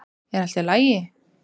Er allt í lagi?